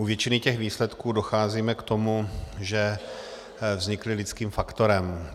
U většiny těch výsledků docházíme k tomu, že vznikly lidským faktorem.